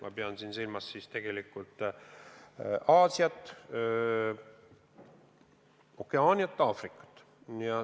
Ma pean silmas Aasiat, Okeaaniat ja Aafrikat.